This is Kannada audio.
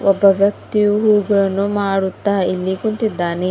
ಒಬ್ಬ ವ್ಯಕ್ತಿಯು ಹೂಗಳನ್ನು ಮಾರುತ್ತಾ ಇಲ್ಲಿ ಕೂತಿದ್ದಾನೆ.